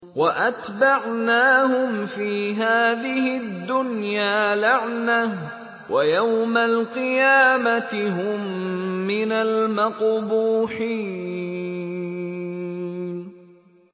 وَأَتْبَعْنَاهُمْ فِي هَٰذِهِ الدُّنْيَا لَعْنَةً ۖ وَيَوْمَ الْقِيَامَةِ هُم مِّنَ الْمَقْبُوحِينَ